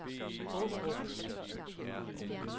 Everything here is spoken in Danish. Aarup